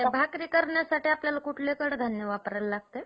असे का झाले नाही? काही त्रास झाला का?